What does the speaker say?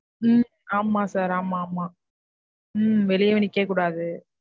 உம் ஆமா sir ஆமா, ஆமா. உம் வெளியவும் நிக்கக்கூடாது.